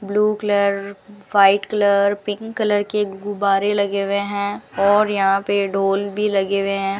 Blue colour white colour pink colour के गुब्बारे लगे हुए हैं और यहां पे डॉल भी लगे हुए हैं।